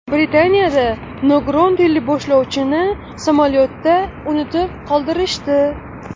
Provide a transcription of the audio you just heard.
Britaniyada nogiron teleboshlovchini samolyotda unutib qoldirishdi.